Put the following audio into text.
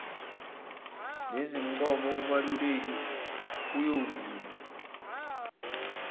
nezincomo umeluleki uyobuye